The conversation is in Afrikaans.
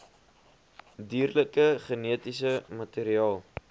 dierlike genetiese materiaal